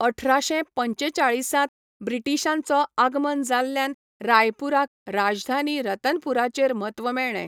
अठराशे पंचेचाळिसांत ब्रिटिशांचो आगमन जाल्ल्यान रायपूराक राजधानी रतनपूराचेर म्हत्व मेळ्ळें.